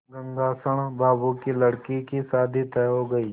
गंगाशरण बाबू की लड़की की शादी तय हो गई